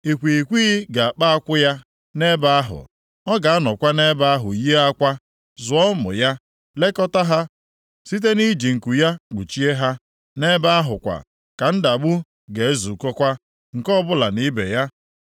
Ikwighịkwighị ga-akpa akwụ ya nʼebe ahụ. Ọ ga-anọkwa nʼebe ahụ yie akwa, zụọ ụmụ ya, lekọtaa ha site nʼiji nku ya kpuchie ha. Ebe ahụ kwa ka ndagbụ ga-ezukọkwa, nke ọbụla na ibe ya.